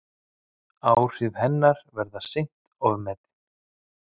Áhrif hennar verða seint ofmetin.